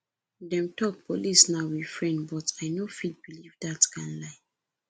dem talk police na we friend but i no fit beliv dat kind lie